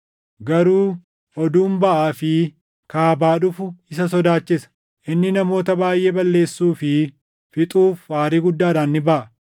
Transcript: Garuu oduun baʼaa fi kaabaa dhufu isa sodaachisa; inni namoota baayʼee balleessuu fi fixuuf aarii guddaadhaan ni baʼa.